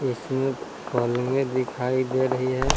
इसमें पलंगें दिखाई दे रही है।